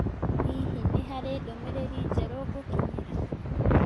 Hihi nĩ harĩ ndũmĩrĩri njerũ ngũkinyĩra?